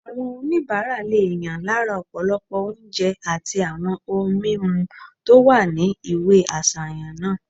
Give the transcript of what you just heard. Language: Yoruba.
Àwọn oníbàárà lè yàn lára ọ̀pọ̀lọpọ̀ oúnjẹ àti àwọn ohun mímu tó wà ní ìwé àsàyàn náà